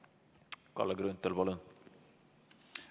Kalle Grünthal, palun!